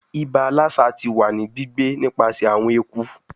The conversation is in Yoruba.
Iba Lassa ti wa ni gbigbe nipasẹ awọn eku